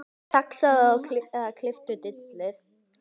Saxaðu eða klipptu dillið.